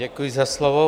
Děkuji za slovo.